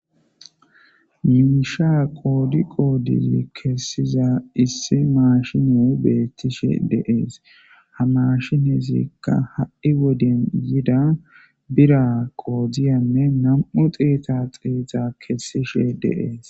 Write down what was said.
Misha qoddi qoddi kesizza issi mashiney betishe dees ha mashineykka ha'i woden yida birra qodiya xetu xetu kessysa besses.